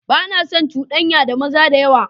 Ba na son cudanya da maza da yawa.